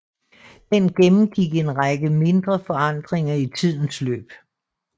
Den gennemgik en række mindre forandringer i tidens løb